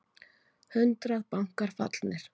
Hundrað bankar fallnir